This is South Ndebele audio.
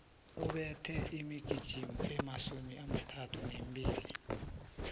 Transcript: ubethe imigijimo emasumi amathathu nambili